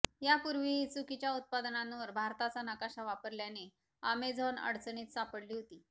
यापूर्वीही चुकीच्या उत्पादनांवर भारताचा नकाशा वापरल्याने अॅमेझॉन अडचणीत सापडली होती